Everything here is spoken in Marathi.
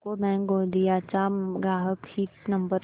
यूको बँक गोंदिया चा ग्राहक हित नंबर